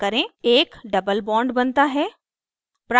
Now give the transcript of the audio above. एक double bond बनता है